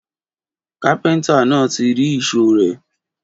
Kàpẹńtà nà tí ri ìsó rẹ.